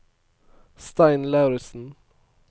Stein Lauritsen